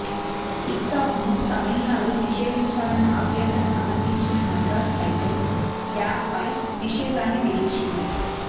tick టాక్ను తమిళనాడులో నిషేదించాలన్న అభ్యర్థన సమర్దించిన మద్రాస్ హైకోర్టు యాప్పై నిషేధాన్ని విధించింది